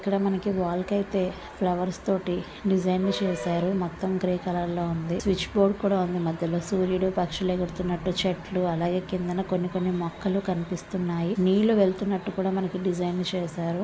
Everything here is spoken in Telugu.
ఇక్కడ మనకి వాల్ కి అయితే ఫ్లవర్స్ తోటి డిజైన్ చేసారు మొత్తం గ్రే కలర్ లో ఉంది. స్విచ్ బోర్డు కూడా ఉంది .మధ్యలో సూరీడు పక్షులు ఎగురుతున్నటు చెట్లు అలగే కిందనా కొన్ని కొన్ని మొక్కలు కనిపిస్తున్నాయి నిల్లు వెళ్తున్నట్టుగా మనకి డిజైన్ చేసారు.